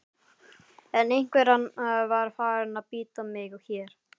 En einveran var farin að bíta mig hér.